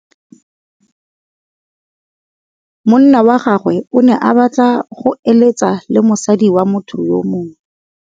Monna wa gagwe o ne a batla go êlêtsa le mosadi wa motho yo mongwe.